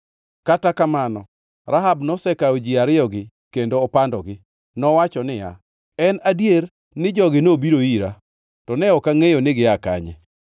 Kata kamano, Rahab nosekawo ji ariyogi kendo opandogi. Nowacho niya, “En adier, ni jogi nobiro ira, to ne ok angʼeyo ni gia kanye.